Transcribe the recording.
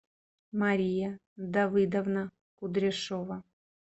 мария давыдовна кудряшова